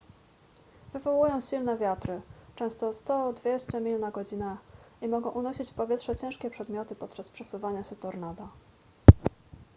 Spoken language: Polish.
wywołują silne wiatry często 100–200 mil na godzinę i mogą unosić w powietrze ciężkie przedmioty podczas przesuwania się tornada